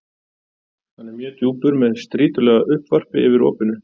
Hann er mjög djúpur með strýtulaga uppvarpi yfir opinu.